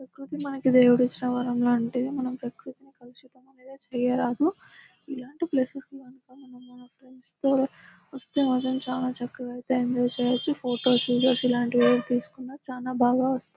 ప్రకృతి మనకి దేవుడు ఇచ్చిన వరం లాంటిది.మనం ప్రకృతిని కలుషితం అనేది చేయరాదు. ఇలాంటి ప్లేసెస్ కి మనం మన ఫ్రెండ్స్ తో వస్తే ఐతే చాలా చక్కగా ఐతే ఎంజాయ్ చెయ్యొచ్చు. ఫొటోస్ వీడియోస్ లాంటివి ఏవి తీసుకున్న చాలా బాగా వస్తాయి.